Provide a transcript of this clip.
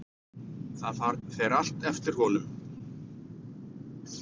Það fer allt eftir honum.